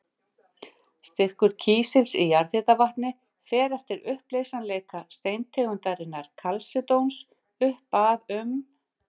Styrkur kísils í jarðhitavatni fer eftir uppleysanleika steintegundarinnar kalsedóns upp að um